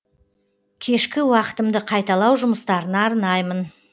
кешкі уақытымды қайталау жұмыстарына арнаймын